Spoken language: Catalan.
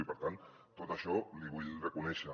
i per tant tot això l’hi vull reconèixer